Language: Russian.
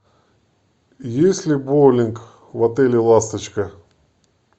есть ли боулинг в отеле ласточка